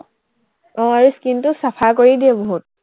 আহ এই skin টো চাফা কৰি দিয়ে বহুত।